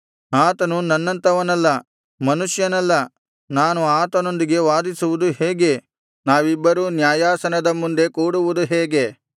ಆತನು ನನ್ನಂಥವನಲ್ಲ ಮನುಷ್ಯನಲ್ಲ ನಾನು ಆತನೊಂದಿಗೆ ವಾದಿಸುವುದು ಹೇಗೆ ನಾವಿಬ್ಬರೂ ನ್ಯಾಯಾಸನದ ಮುಂದೆ ಕೂಡುವುದು ಹೇಗೆ